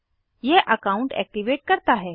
यह account activate करता है